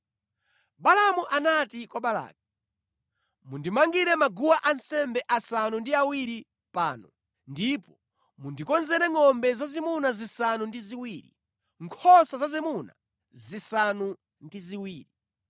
Balaamu anati kwa Balaki, “Mundimangire maguwa ansembe asanu ndi awiri pano ndipo mundikonzere ngʼombe zazimuna zisanu ndi ziwiri, nkhosa zazimuna zisanu ndi ziwiri.”